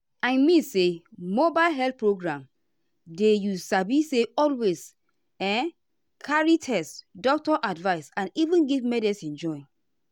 i mean say mobile health program dey you sabi say always um carry test doctor advice and even give medicine join.